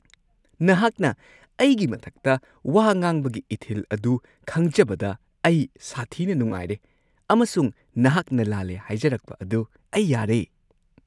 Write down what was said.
ꯅꯍꯥꯛꯅ ꯑꯩꯒꯤ ꯃꯊꯛꯇ ꯋꯥ ꯉꯥꯡꯕꯒꯤ ꯏꯊꯤꯜ ꯑꯗꯨ ꯈꯪꯖꯕꯗ ꯑꯩ ꯁꯥꯊꯤꯅ ꯅꯨꯡꯉꯥꯏꯔꯦ ꯑꯃꯁꯨꯡ ꯅꯍꯥꯛꯅ ꯂꯥꯜꯂꯦ ꯍꯥꯏꯖꯔꯛꯄ ꯑꯗꯨ ꯑꯩ ꯌꯥꯔꯦ ꯫